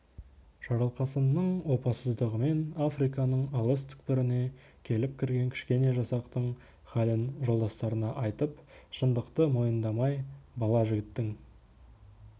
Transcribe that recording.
жарылқасынның опасыздығымен африканың алыс түкпіріне келіп кірген кішкене жасақтың халін жолдастарына айтып шындықты мойындамай бала жігіттің